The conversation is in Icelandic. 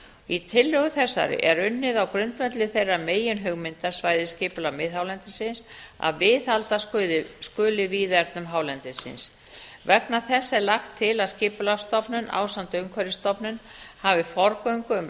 í tillögu þessari er unnið á grundvelli þeirra meginhugmynda svæðisskipulags miðhálendisins að viðhalda skuli víðernum hálendisins vegna þess er lagt til að skipulagsstofnun ásamt umhverfisstofnun hafi forgöngu um